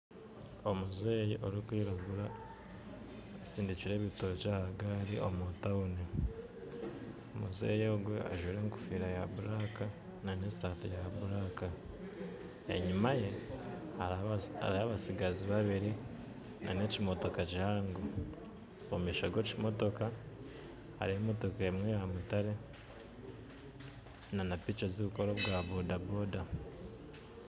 Omuzeeyi orikwiragura asindikyire ebitookye aha gari omu tawuni omuzeeyi ogu ajwire enkofira ya buraka na nesaati ya buraka. Enyima ye hariho abatsigazi babiri na n'ekimotoka kihango. Omu maisho ga ekimotoka hariho emotoka emwe eyamutare na napiki ezirikukora obwa boda